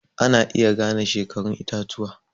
Ana iya gane shekarun itatuwa